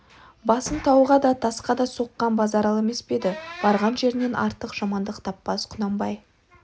басын тауға да тасқа да соққан базаралы емес пе еді барған жерінен артық жамандық таппас құнанбай